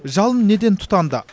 жалын неден тұтанды